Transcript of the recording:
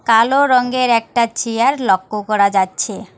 কালো রঙ্গের একটা চেয়ার লক্ষ্য করা যাচ্ছে।